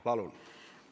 Palun!